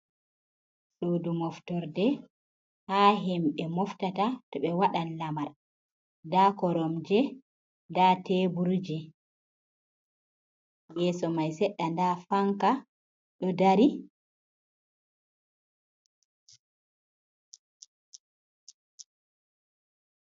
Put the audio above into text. Sudu moftorde ha himɓe moftata to ɓe waɗan lamar, nda koromje, nda teburje, yeso mai seɗɗa nda fanka ɗo dari.